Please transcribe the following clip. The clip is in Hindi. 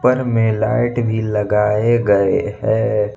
घर में लाइट भी लगाए गए हैं।